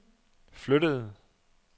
flyttede